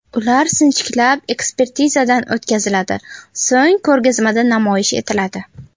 Ular sinchiklab ekspertizadan o‘tkaziladi, so‘ng ko‘rgazmada namoyish etiladi.